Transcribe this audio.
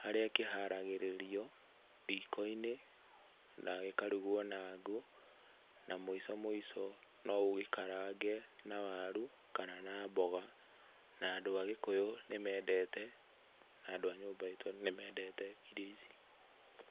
harĩa kĩharagĩrĩrio riko-inĩ na gĩkarugwo na ngũ, na mũico mũico no ũgĩkarange na waru kana na mboga. Na andũ a Gĩkũyũ nĩ mendete na andũ a nyũmba itũ nĩmedete irio ici.